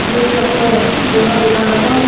यो यख जंगल दिखेण लग्यां।